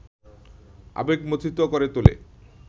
আবেগমথিত করে তোলে